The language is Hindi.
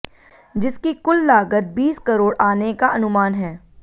जिसकी कुल लागत बीस करोड़ आने का अनुमान है